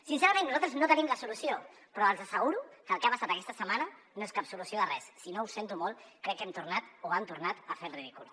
sincerament nosaltres no tenim la solució però els asseguro que el que ha passat aquesta setmana no és cap solució de res sinó que ho sento molt crec que hem tornat o han tornat a fer el ridícul